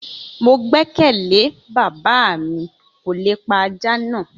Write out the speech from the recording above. Mo gbẹkẹle bàbá mi kò lè pa aja na